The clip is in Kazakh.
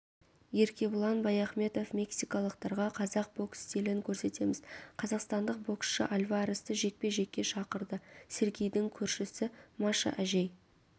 еркебұлан баяхметов мексикалықтарға қазақ бокс стилін көрсетеміз қазақстандық боксшы альваресті жекпе-жекке шақырды сергейдің көршісі маша әжей